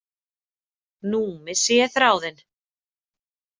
Nú missi ég þráðinn.